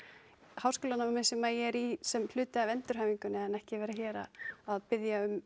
háskólanámið sem ég er í sem hluta af endurhæfingunni en ekki vera hér að biðja um